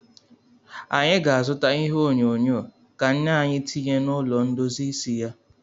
Anyị ga-azụta ihe onyonyo ka nne anyị tinye n'ụlọ ndozi isi ya.